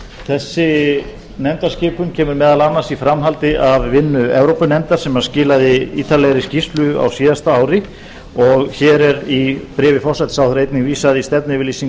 þessi nefndarskipun kemur meðal annars í framhaldi af vinnu evrópunefndar sem skilaði ítarlegri skýrslu á síðasta ári og hér er í bréfi forsætisráðherra einnig vísað í stefnu